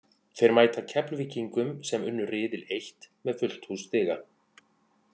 Þeir mæta Keflvíkingum sem unnu riðil eitt með fullt hús stiga.